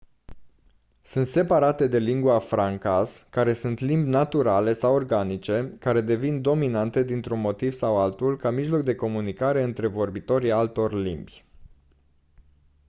sunt separate de lingua francas care sunt limbi naturale sau organice care devin dominante dintr-un motiv sau altul ca mijloc de comunicare între vorbitorii altor limbi